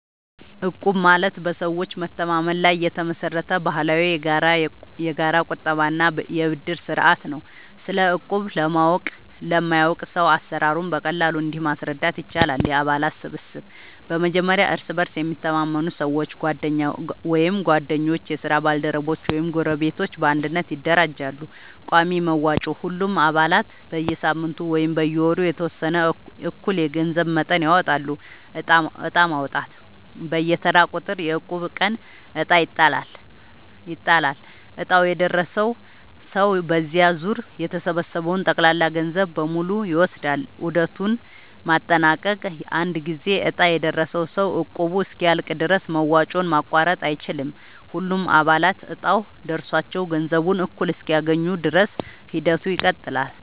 እቁብ ማለት በሰዎች መተማመን ላይ የተመሰረተ ባህላዊ የጋራ ቁጠባ እና የብድር ስርዓት ነው። ስለ እቁብ ለማያውቅ ሰው አሰራሩን በቀላሉ እንዲህ ማስረዳት ይቻላል፦ የአባላት ስብስብ፦ በመጀመሪያ እርስ በእርስ የሚተማመኑ ሰዎች (ጓደኞች፣ የስራ ባልደረቦች ወይም ጎረቤቶች) በአንድነት ይደራጃሉ። ቋሚ መዋጮ፦ ሁሉም አባላት በየሳምንቱ ወይም በየወሩ የተወሰነ እኩል የገንዘብ መጠን ያወጣሉ። ዕጣ ማውጣት፦ በየተራው ቁጥር (የእቁብ ቀን) ዕጣ ይጣላል፤ ዕጣው የደረሰው ሰው በዚያ ዙር የተሰበሰበውን ጠቅላላ ገንዘብ በሙሉ ይወስዳል። ዑደቱን ማጠናቀቅ፦ አንድ ጊዜ ዕጣ የደረሰው ሰው እቁቡ እስኪያልቅ ድረስ መዋጮውን ማቋረጥ አይችልም። ሁሉም አባላት እጣው ደርሷቸው ገንዘቡን እኩል እስኪያገኙ ድረስ ሂደቱ ይቀጥላል።